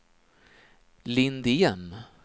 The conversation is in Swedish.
Lindén